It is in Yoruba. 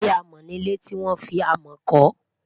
ilé amo ní ilẹ tí wọn fí amo kò